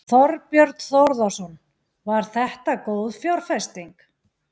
Þorbjörn Þórðarson: Var þetta góð fjárfesting?